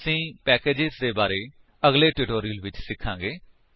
ਅਸੀ ਪੈਕੇਜ ਦੇ ਬਾਰੇ ਵਿੱਚ ਅਗਲੇ ਟਿਊਟੋਰਿਅਲਸ ਵਿੱਚ ਸਿਖਾਂਗੇ